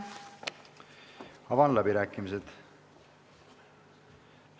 Avan läbirääkimised.